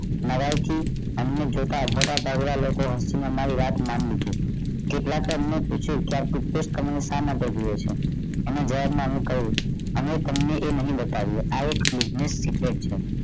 મારા થી અન્ય મોટા બળવન લોકો એ મારી વાત માની લીધી કેટલાક અમને પૂછ્યું કે પૂતેશકન શા માટે જોઈ છે અને ગેર માનવું કહ્યું અમે તમને એ નહિ બતાવીએ આ એક secret છે